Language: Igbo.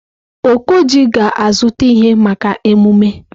Okoji ga-azụta ihe maka emume.